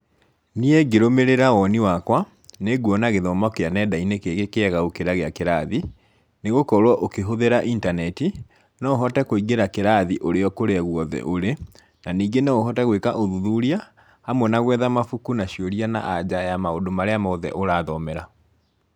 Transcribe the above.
Niĩ ngĩrũmĩrĩra woni wakwa, nĩnguona gĩthomo kĩa nenda-inĩ gĩ kĩega gũkĩra gĩa kĩrathi, nĩ gũkorwo ũkĩhũthĩra intaneti, no ũhote kũingĩra kĩrathi ũrĩ o kũrĩa guothe ũrĩ, na ningĩ no ũhote gwĩka ũthuthuria, hamwe na gwetha mabuku na ciũria na anja ya maũndũ marĩa mothe ũrathomera.